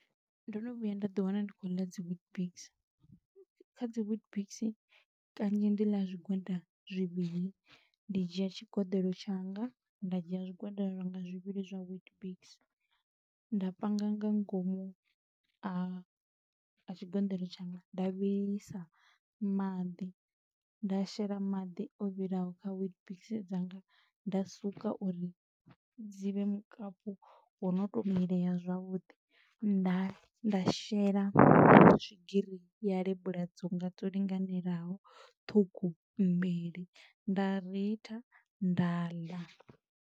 Ndo no vhuya nda ḓi wana ndi khou ḽa dzi weetbix, kha dzi weetbix kanzhi ndi ḽa zwigwada zwivhili, ndi dzhia tshigeḓelo tshanga, nda dzhia zwigwada lwanga zwivhili zwa witbix, nda panga nga ngomu a tshigoḓelo tshanga, nda vhilisa maḓi nda shela maḓi o vhilaho kha weetbix dzanga, nda suka uri dzi vhe mukapu wo no to mileya zwavhuḓi, nda shela swigiri ya lebula dzanga dzo linganelaho ṱhukhu mbili, nda ritha, nda ḽa.